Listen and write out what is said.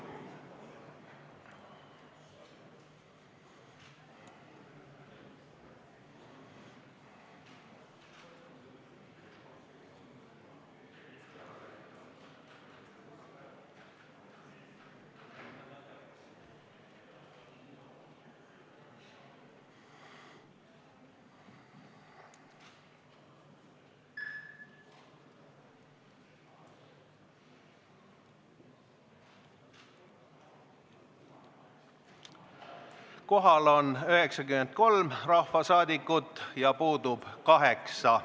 Kohaloleku kontroll Kohal on 93 rahvasaadikut ja puudub 8.